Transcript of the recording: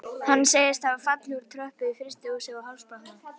Hann segist hafa fallið úr tröppu í frystihúsi og hálsbrotnað.